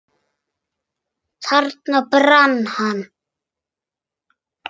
Þarna brann hann.